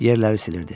Yerləri silirdi.